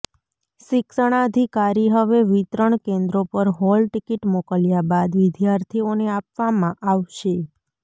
શિક્ષણાધિકારી હવે વિતરણ કેન્દ્રો પર હોલ ટિકિટ મોકલ્યા બાદ વિદ્યાર્થીઓને આપવામાં આવશે